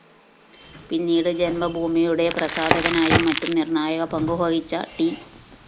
പിന്നീട് ജന്മഭൂമിയുടെ പ്രസാധകനായും മറ്റും നിര്‍ണായക പങ്കു വഹിച്ച ട്‌